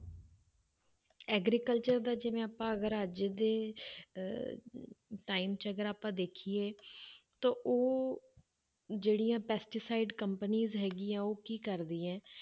Agriculture ਦਾ ਜਿਵੇਂ ਆਪਾਂ ਅਗਰ ਅੱਜ ਦੇ ਅਹ time 'ਚ ਅਗਰ ਆਪਾਂ ਦੇਖੀਏ ਤਾਂ ਉਹ ਜਿਹੜੀਆਂ pesticide companies ਹੈਗੀਆਂ ਉਹ ਕੀ ਕਰਦੀਆਂ ਹੈ,